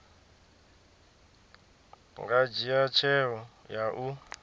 nga dzhia tsheo ya u